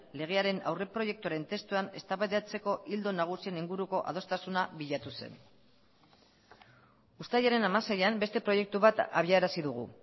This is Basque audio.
legearen aurreproiektuaren testuan eztabaidatzeko ildo nagusien inguruko adostasuna bilatu zen uztailaren hamaseian beste proiektu bat abiarazi dugu